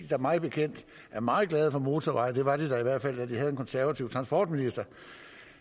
der mig bekendt er meget glade for motorveje det var de da i hvert fald da de havde en konservativ transportminister